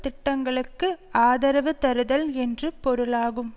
திட்டங்களுக்கு ஆதரவு தருதல் என்று பொருளாகும்